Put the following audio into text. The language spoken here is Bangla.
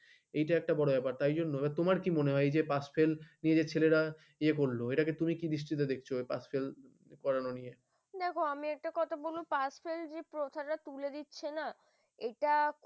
এই করে তুমি কেন নব্বাই পেলে তুমি কেন বাকি দশ number তুললে না এই যে ফেলে দিই তার জন্য এই সমস্যাটা number তুলতে যাচ্ছে তারা শিখতে যাচ্ছেনা